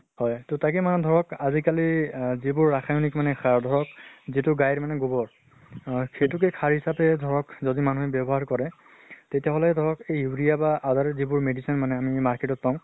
হয় ত তাকে মানে ধৰক আজি কালি আহ যিবোৰ ৰাসায়্নিক মানে সাৰ ধৰক যিটো গাইৰ মানে গুবৰ, অহ সেইটোকে সাৰ হিচাপে ধৰক যদি মানুহে ব্য়ৱ্হাৰ কৰে তেতিয়া হলে ধৰক urea বা other ও যিবোব medicine মানে ম market ত পাওঁ